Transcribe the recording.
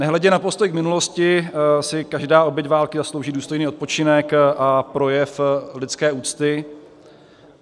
Nehledě na postoj k minulosti si každá oběť války zaslouží důstojný odpočinek a projev lidské úcty.